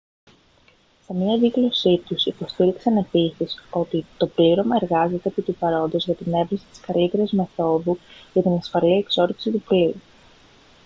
σε μια δήλωσή τους υποστήριξαν επίσης ότι «το πλήρωμα εργάζεται επί του παρόντος για την εύρεση της καλύτερης μεθόδου για την ασφαλή εξόρυξη του πλοίου»